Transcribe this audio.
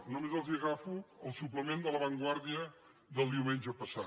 només agafo el suplement de la vanguardiadel diumenge passat